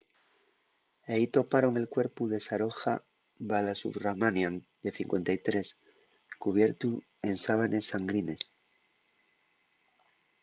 ehí toparon el cuerpu de saroja balasubramanian de 53 cubiertu en sábanes sangrines